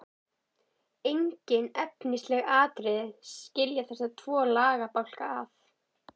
Engin efnisleg atriði skilja þessa tvo lagabálka að.